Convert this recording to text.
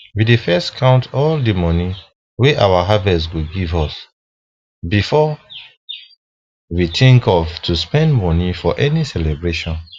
we dey first count all the money wey our harvest go give us before we even think of to spend money for any celebration